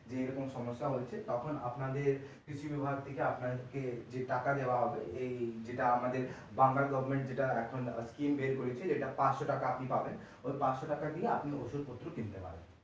যে এরকম সমস্যা হয়েছে তখন আপনাদের কৃষি বিভাগ থেকে আপনাদেরকে যে টাকা দেওয়া হবে এই যেটা আমাদের বাংলার government যেটা এখন scheme বের করেছে যেটা পাঁচশো টাকা আপনি পাবেন ওই পাঁচশো টাকা আপনি ওষুধপএ কিনতে পারেন।